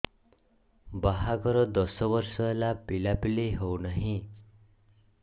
ବାହାଘର ଦଶ ବର୍ଷ ହେଲା ପିଲାପିଲି ହଉନାହି